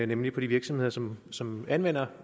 nemlig på de virksomheder som som anvender